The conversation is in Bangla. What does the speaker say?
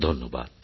ধন্যবাদ